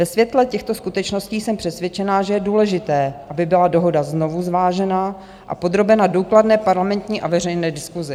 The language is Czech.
Ve světle těchto skutečností jsem přesvědčena, že je důležité, aby byla dohoda znovu zvážena a podrobena důkladné parlamentní a veřejné diskusi.